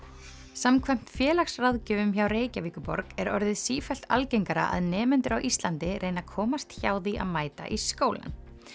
samkvæmt félagsráðgjöfum hjá Reykjavíkurborg er orðið sífellt algengara að nemendur á Íslandi reyni að komast hjá því að mæta í skólann